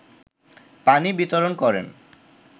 পানি বিতরণ করেন